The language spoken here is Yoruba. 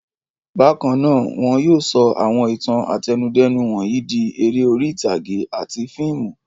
Bákan náà, wọn yóò sọ àwọn ìtàn àtẹnudẹ́nu wọ̀nyí di eré orí-ìtàgé àti fíìmù.